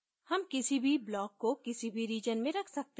हम किसी भी block को किसी भी region में रख सकते हैं